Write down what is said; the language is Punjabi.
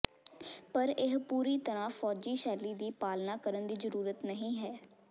ਪਰ ਇਹ ਪੂਰੀ ਤਰ੍ਹਾਂ ਫੌਜੀ ਸ਼ੈਲੀ ਦੀ ਪਾਲਣਾ ਕਰਨ ਦੀ ਜ਼ਰੂਰਤ ਨਹੀਂ ਹੈ